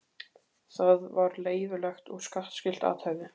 Það var leyfilegt og skattskylt athæfi.